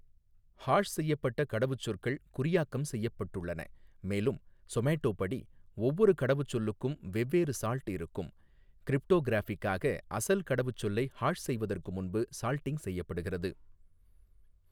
Hash செய்யப்பட்ட கடவுச்சொற்கள் குறியாக்கம் செய்யப்பட்டுள்ளன, மேலும் சொமேட்டோப் படி, ஒவ்வொரு கடவுச்சொல்லுக்கும் வெவ்வேறு 'சால்ட்' இருக்கும், கிரிப்டோகிராஃபிக்காக, அசல் கடவுச்சொல்லை ஹாஷ் செய்வதற்கு முன்பு சால்டிங் செய்யப்படுகிறது.